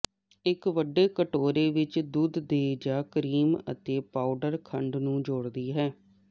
ਇੱਕ ਵੱਡੇ ਕਟੋਰੇ ਵਿੱਚ ਦੁੱਧ ਦੇ ਜ ਕਰੀਮ ਅਤੇ ਪਾਊਡਰ ਖੰਡ ਨੂੰ ਜੋੜਦੀ ਹੈ